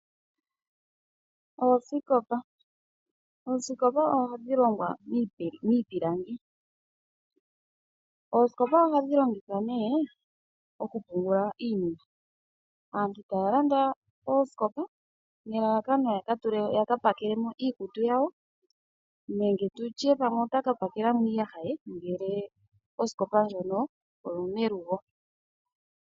Oosikopa ohadhi longwa miipilangi . Oosikopa oha dhi longithwa nee okupungula iinima aantu ta ya landa oosikopa nelalakano ya ka pakelemo iikutu yawo nenge pamwe otaka pakelamo iiyaha ye ngele Osikopa ndjono oyomelugo.